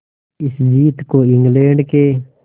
इस जीत को इंग्लैंड के